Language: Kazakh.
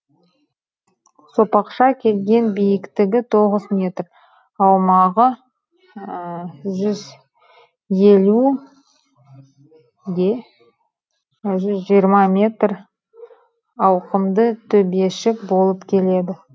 сопақша келген биіктігі тоғыз метр аумағы жүз елу де жүз жиырма метр ауқымды төбешік болып келеді